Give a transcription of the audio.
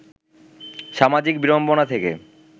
সামাজিক বিড়ম্বনা থেকে